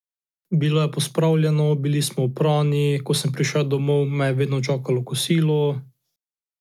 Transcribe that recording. Bilo je pospravljeno, bili smo oprani, ko sem prišel domov, me je vedno čakalo kosilo ...